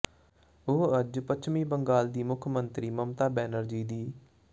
ਉਹ ਅੱਜ ਪੱਛਮੀ ਬੰਗਾਲ ਦੀ ਮੁੱਖ ਮੰਤਰੀ ਮਮਤਾ ਬੈਨਰਜੀ ਦੀ